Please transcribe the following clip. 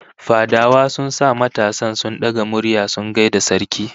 Fadawa sun sa matasan sun daga murya sun gaida sarki